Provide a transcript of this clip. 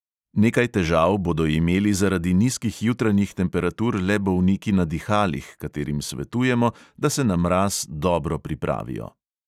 Nekaj težav bodo imeli zaradi nizkih jutranjih temperatur le bolniki na dihalih, katerim svetujemo, da se na mraz dobro pripravijo.